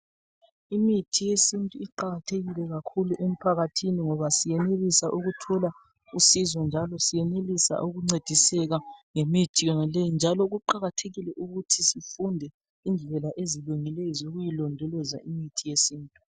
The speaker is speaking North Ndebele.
Imithi yesintu iqakathekile kakhulu emphakathini, ngoba siyenelisa ukuthola usizo njalo siyenelisa ukuncediseka ngemithi yonaleyi, njalo kuqakathekile ukuthi sifunde indlela ezilungileyo zokuyilondoloza imithi yesintu.